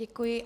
Děkuji.